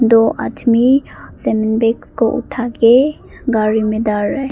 दो आदमी बॉक्स को उठा के गाड़ी में डाल रहे हैं।